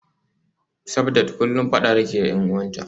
Sabdat kullum fada take da y'an uwanta